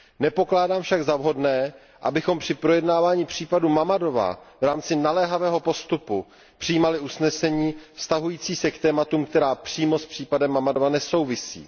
Nepokládám však za vhodné, abychom při projednávání případu Mammadova v rámci naléhavého postupu přijímali usnesení vztahující se k tématům, která přímo s případem Mammadova nesouvisí.